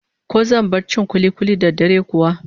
Ko zan bar cin kuli-kuli da dare kuwa?